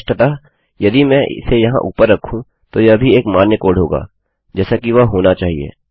स्पष्टतः यदि मैं इसे यहाँ ऊपर रखूँ तो यह भी एक मान्य कोड होगाजैसा कि वह होना चाहिए